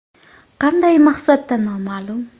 Qanday maqsadda noma’lum.